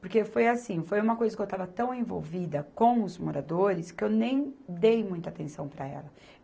Porque foi assim, foi uma coisa que eu estava tão envolvida com os moradores que eu nem dei muita atenção para ela.